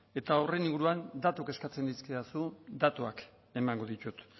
eta horren inguruan datuak eskatzen dizkidazu datuak emango ditut